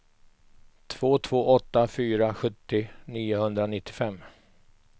två två åtta fyra sjuttio niohundranittiofem